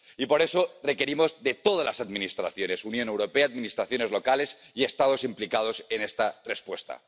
Y por eso requerimos de todas las Administraciones —Unión Europea, Administraciones locales y Estados implicados— en esta respuesta.